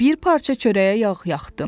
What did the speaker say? Bir parça çörəyə yağ yaxdım.